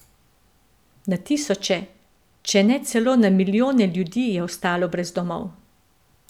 Na tisoče, če ne celo na milijone ljudi je ostalo brez domov.